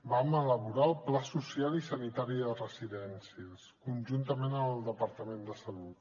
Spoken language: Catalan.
vam elaborar el pla social i sanitari de residències conjuntament amb el departament de salut